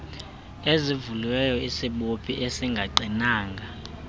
ezivuliweyo isibophi esingaqinanga